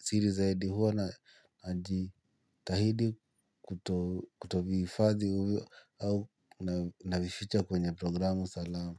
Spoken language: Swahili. siri zaidi huwa najitahidi kutohifadhii au navificha kwenye programu Salamu.